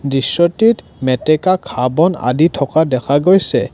দৃশ্যটিত মেটেকা ঘাঁহ বন আদি থকা দেখা গৈছে।